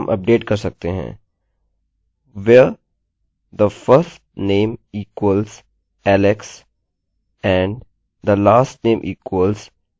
अब हमें जो कुछ भी हमारे टेबलतालिकासे चाहिए हम यहाँ चुनेंगे और हम कहेंगे सबकुछ सेलेक्ट करो जहाँ हमारा firstname alex से लेकर lastname garrett है